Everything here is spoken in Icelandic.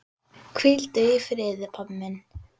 Hvíldu í friði, pabbi minn.